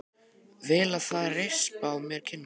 Vil að þeir rispi á mér kinnarnar.